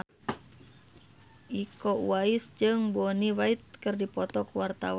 Iko Uwais jeung Bonnie Wright keur dipoto ku wartawan